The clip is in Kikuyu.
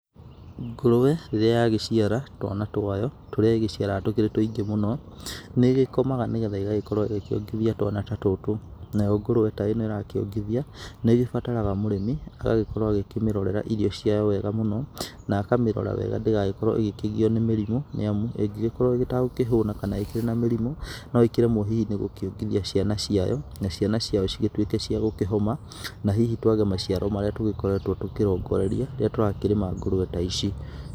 Ngũrwe rĩria yagĩciara twana twayo tũrĩa ĩgĩciaraga tũkĩrĩ tũingĩ mũno. Nĩ ĩgĩkomaga nĩgetha ĩgagĩkorwo ĩgĩkĩongithia twana ta tũtũ. Nayo ngũrwe ta ĩno ĩrakĩongithia nĩ ĩgĩbataraga mũrĩmi agagĩkorwo agĩkĩmĩrorera irio ciayo wega mũno, na akamĩrora wega ndĩgagĩkorwo ĩgĩkĩgio nĩ mĩrimũ. Nĩ amu ĩngĩgĩkorwo ĩtagũkĩhũna, kana ĩkĩrĩ na mĩrimũ, no ĩkĩremwo hihi nĩ gũkĩongithia ciana ciayo, na ciana ciayo cigĩtuĩke cia gũkĩhoma, na hihi twage maciaro marĩa tũgĩkoretwo tũkĩrongoreria rĩrĩa tũrarĩma ngũrwe ta ici.